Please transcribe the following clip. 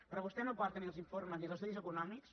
però vostè no porta ni els informes ni els estudis econòmics